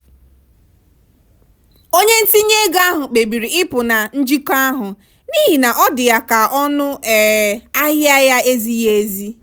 onye ntinye ego ahụ kpebiri ịpụ na njikọ ahụ n'ihi na ọ dị ya ka ọnụ um ahịa ya ezighị ezi.